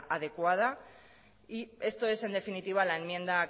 adecuada esto es en definitiva la enmienda